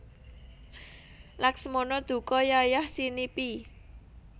Laksmana duka yayahsinipi